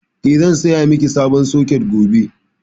Eh, zan saya miki sabon soket gobe.